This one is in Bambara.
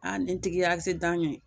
Aa nin tigi y'asidan kɛ